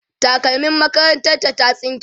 takalmim makarantar ta ta tsinke